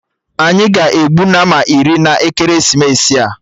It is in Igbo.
Anyị ga-egbu Nama iri na ekeresimesi a